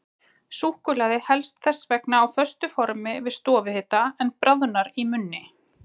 Súkkulaði helst þess vegna á föstu formi við stofuhita, en bráðnar í munni.